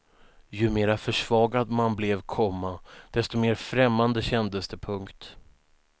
Ju mera försvagad man blev, komma desto mer främmande kändes det. punkt